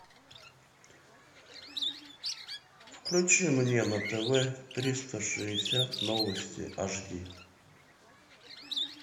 включи мне на тв триста шестьдесят новости аш ди